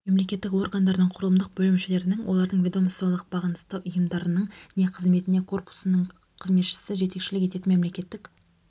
мемлекеттік органдардың құрылымдық бөлімшелерінің олардың ведомстволық бағынысты ұйымдарының не қызметіне корпусының қызметшісі жетекшілік ететін мемлекеттік